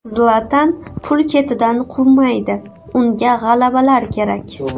Zlatan pul ketidan quvmaydi, unga g‘alabalar kerak.